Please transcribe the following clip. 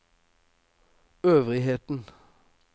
øvrigheten